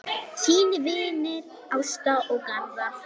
Þínir vinir, Ásta og Garðar.